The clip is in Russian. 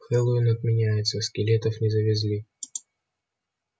хэллоуин отменяется скелетов не завезли